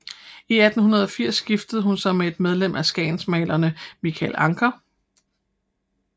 I 1880 giftede hun sig med et medlem af skagensmalerne Michael Ancher